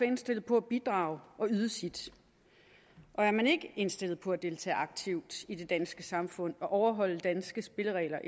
indstillet på at bidrage og yde sit er man ikke indstillet på at deltage aktivt i det danske samfund og overholde danske spilleregler